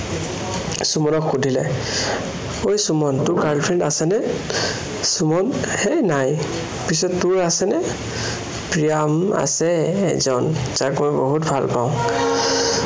তাই সুমনক সুধিলে, অই সুমন তোৰ girl friend আছেনে? সুমন হেই নাই। পিছে তোৰ আছেনে? প্ৰিয়া উম আছে এজন। তাক মই বহুত ভালপাওঁ